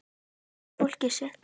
Og kynna fólkið sitt.